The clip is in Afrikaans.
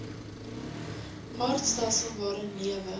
aardstelsel waarin lewe